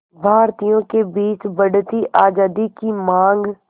भारतीयों के बीच बढ़ती आज़ादी की मांग